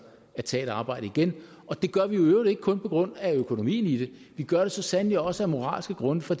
at tage et arbejde igen og det gør vi jo i øvrigt ikke kun på grund af økonomien i det vi gør det så sandelig også af moralske grunde for